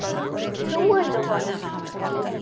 Trúirðu honum?